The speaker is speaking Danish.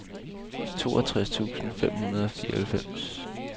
toogtres tusind fem hundrede og fireoghalvfems